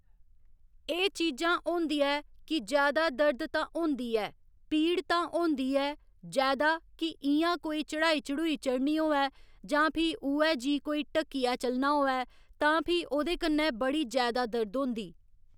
एह् चीजां होंदियां ऐ कि जैदा दर्द तां होंदी ऐ पीड़ तां होंदी ऐ जैदा कि इ'यां कोई चढ़ाई चढ़ुई चढ़नी होऐ जां फ्ही उयै जी कोई ढक्कियै चलना होऐ तां फ्ही ओह्कन्नै बड़ी जैदा दर्द होंदी।